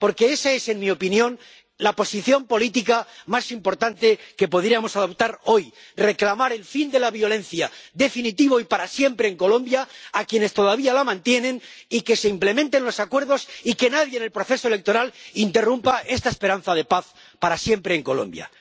Porque esa es, en mi opinión, la posición política más importante que podríamos adoptar hoy reclamar el fin de la violencia, definitivo y para siempre en Colombia, a quienes todavía la mantienen, y que se implementen los acuerdos y que nadie en el proceso electoral interrumpa esta esperanza de paz para siempre en Colombia.